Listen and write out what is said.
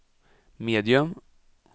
medium